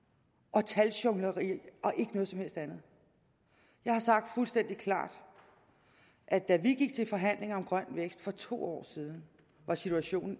og taljonglering og ikke noget som helst andet jeg har sagt fuldstændig klart at da vi gik til forhandlinger om grøn vækst for to år siden var situationen